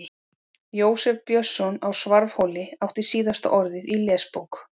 Jósef Björnsson á Svarfhóli átti síðasta orðið í Lesbók